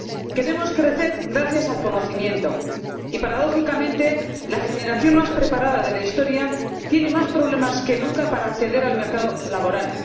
Queremos crecer gracias al conocimiento y, paradójicamente, la generación más preparada de la historia tiene más problemas que nunca para acceder al mercado laboral.